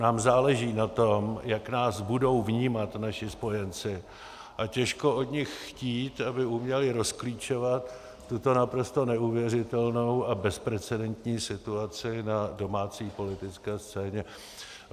Nám záleží na tom, jak nás budou vnímat naši spojenci, a těžko od nich chtít, aby uměli rozklíčovat tuto naprosto neuvěřitelnou a bezprecedentní situaci na domácí politické scéně.